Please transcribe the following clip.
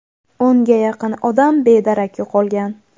o‘nga yaqin odam bedarak yo‘qolgan.